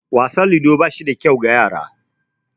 Wasan ludo ba shi da kyau ga yara